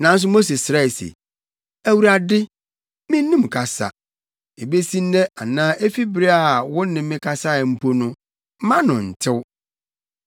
Nanso Mose srɛe se, “ Awurade, minnim kasa. Ebesi nnɛ anaa efi bere a wo ne me kasae mpo no, mʼano ntew.”